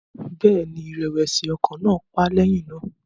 Bẹ́ẹ̀ ni, ìrẹ̀wẹ̀sì ọkàn náà pa á lẹ́yìn náà